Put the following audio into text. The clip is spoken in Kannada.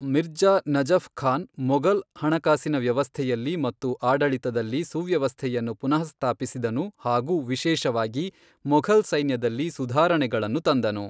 ಮಿರ್ಜಾ ನಜಫ್ ಖಾನ್ ಮೊಘಲ್ ಹಣಕಾಸಿನ ವ್ಯವಸ್ಥೆಯಲ್ಲಿ ಮತ್ತು ಆಡಳಿತದಲ್ಲಿ ಸುವ್ಯವಸ್ಥೆಯನ್ನು ಪುನಃಸ್ಥಾಪಿಸಿದನು ಹಾಗೂ ವಿಶೇಷವಾಗಿ, ಮೊಘಲ್ ಸೈನ್ಯದಲ್ಲಿ ಸುಧಾರಣೆಗಳನ್ನು ತಂದನು.